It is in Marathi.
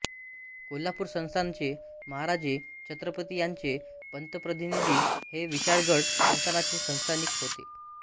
कोल्हापूर संस्थानचे महाराजे छत्रपती यांचे पंतप्रतिनिधी हे विशाळगड संस्थानाचे संस्थानिक होते